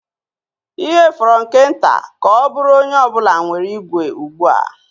Ihe fọrọ nke nta ka ọ bụrụ onye ọ bụla nwere igwe ugbu a.